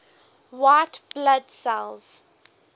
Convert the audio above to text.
white blood cells